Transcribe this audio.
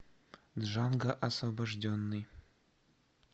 джанго освобожденный